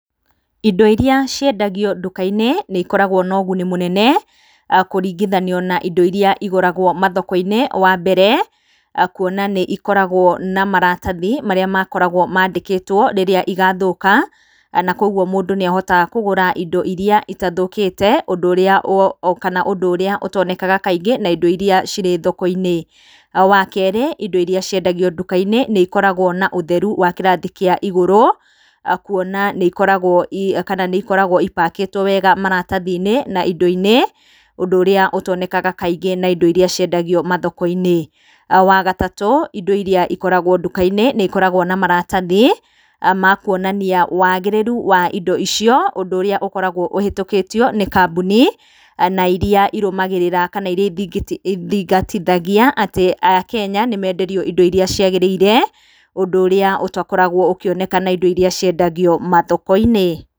Indo irĩa ciendagio nduka-inĩ nĩikoragwo na ũguni mũnene kũringithanio na indo irĩa igũragwo mathoko-inĩ. Wa mbere, kuona nĩikoragwo na maratathi marĩa makoragwo mandĩkĩtwo rĩrĩa igathũka, na koguo mũndũ nĩahotaga kũgũra indo irĩa itathũkĩte ũndũ ũrĩa ũtonekaga kaingĩ na indo irĩa cirĩ thoko-inĩ. Wa kerĩ, indo irĩa ikoragwo nduka-inĩ nĩikoragwo na ũtheru wa kĩrathi kĩa igũru, kuona atĩ nĩikoragwo ipakĩtwo wega maratathi-inĩ na indo-inĩ ũndũ ũrĩa ũtonekaga kaingĩ na indo iria ciendagio mathoko-inĩ. Wa gatatũ, indo irĩa ikoragwo nduka-inĩ nĩikoragwo na maratathi ma kuonania wagĩrĩru wa indo icio, ũndũ ũrĩa ũkoragwo ũhĩtũkĩtio nĩ kambuni, na irĩa irũmagĩrĩra kana iria ithingatithagia atĩ akenya nĩmenderio indo iria ciagĩrĩire, ũndũ ũrĩa ũtakoragwo ũkĩoneka na indo irĩa ciendagio mathoko-inĩ.